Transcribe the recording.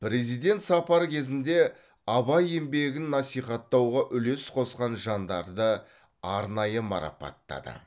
президент сапар кезінде абай еңбегін насихаттауға үлес қосқан жандарды арнайы марапаттады